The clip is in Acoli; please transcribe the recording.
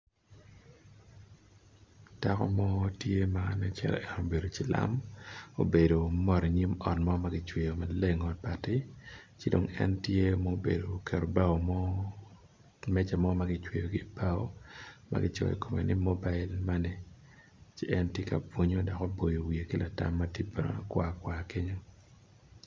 Dako mo tye ma obedo calo cilam obedo i nyim ot mo magicweyo maleng ot bati cidong en tye oketo bao mo kimeca mo magicweyo kibao magicoyo kome ni mobile money ci en tye ka bwonyo dok obwoyo wiye ki latam mati brown kwar kwar kenyo.